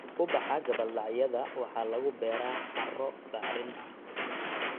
Ubaxa gabbaldhacyada waxaa lagu beeraa carro bacrin ah.